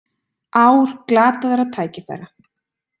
Ár glataðra tækifæra